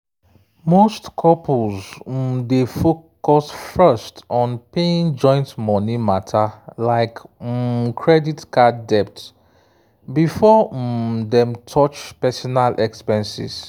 most couples um dey focus first on paying joint money matter like um credit card debt before um dem touch personal expenses